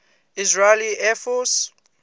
israeli air force